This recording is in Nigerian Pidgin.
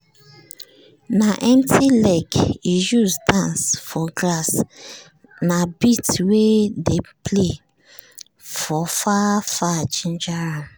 na empty leg e use dance for grass na beat wey dey play for far far ginger am.